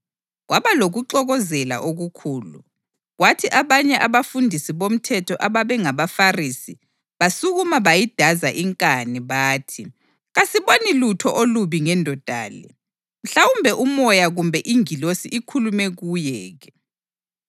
Kwaba lokuxokozela okukhulu, kwathi abanye abafundisi bomthetho ababe ngabaFarisi basukuma bayidaza inkani. Bathi, “Kasiboni lutho olubi ngendoda le. Mhlawumbe umoya kumbe ingilosi ikhulume kuye ke?”